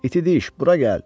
İti diş, bura gəl!